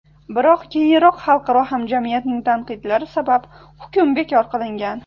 Biroq keyinroq xalqaro hamjamiyatning tandiqlari sabab hukm bekor qilingan.